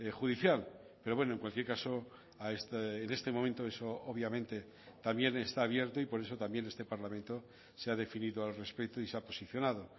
judicial pero bueno en cualquier caso en este momento eso obviamente también está abierto y por eso también este parlamento se ha definido al respecto y se ha posicionado